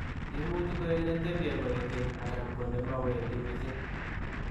Imuchii koek netepie koek keny anan ko nemawendi mising.